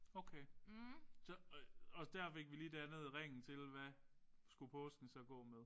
Okay. Så og der fik vi så lige dannet ringen til hvad skulle påsken så gå med